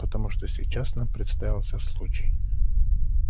потому что сейчас нам представился случай